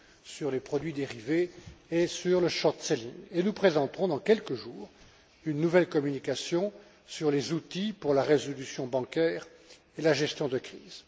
sur les produits dérivés et sur le short selling Et nous présenterons, dans quelques jours, une nouvelle communication sur les outils pour la résolution bancaire et la gestion de crise.